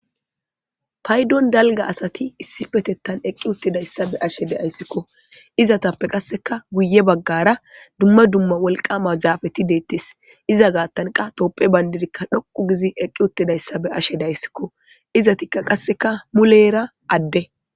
Taydon dalga asati issi petettan eqqi uttidayssa be ashe deayssikko izatappe qasseka guye baggara dumma dumma wolqama zaafeti deettes iza gaattanqa toopphe bayndidikka dhoqu gizi eqqi uttidayssa be ashe deayssikko izatikka qasseka muleera adde